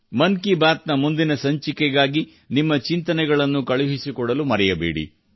ಮನ್ ಕಿ ಬಾತ್ ನ ಮುಂದಿನ ಸಂಚಿಕೆಗಾಗಿ ನಿಮ್ಮ ಚಿಂತನೆಗಳನ್ನು ಕಳುಹಿಸಿಕೊಡಲು ಮರೆಯಬೇಡಿ